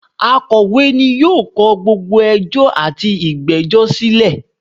Akọ̀wé ni yóò kọ gbogbo ẹjọ́ àti ìgbẹ́jọ́ silẹ̀